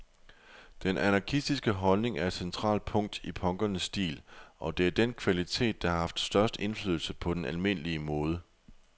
Den anarkistiske holdning er et centralt punkt i punkernes stil, og det er den kvalitet, der har haft størst indflydelse på den almindelige mode.